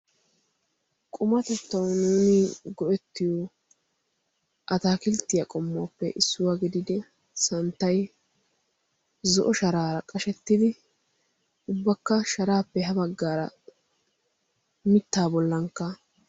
qumatettau nuuni go'ettiyo a taakilttiyaa qommuwaappe issuwaa gididi santtay zo'o sharaara qashettidi ubbakka sharaappe ha baggaara mittaa bollankka